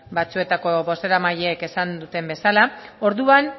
batzuetako bozeramaileek esan duten bezala orduan